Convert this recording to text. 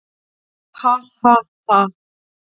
"""Ha, ha, ha!"""